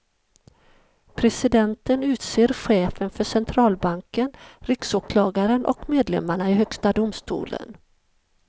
Presidenten utser chefen för centralbanken, riksåklagaren och medlemmarna i högsta domstolen.